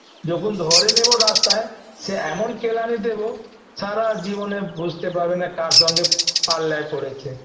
যখন ধরে নেব রাস্তায় সে এমন কেলানি দেবো সারা জীবনে বুঝতে পারবে না কার সঙ্গে পাল্লায় পড়েছে